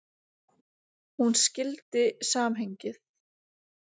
Hún skildi samhengið.